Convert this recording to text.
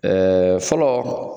Ɛɛ fɔlɔ